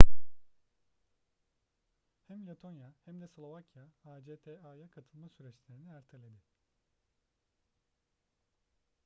hem letonya hem de slovakya acta'ya katılma süreçlerini erteledi